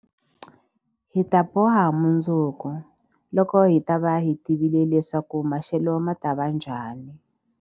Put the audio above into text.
Hi ta boha mundzuku, loko hi ta va hi tivile leswaku maxelo ma ta va njhani.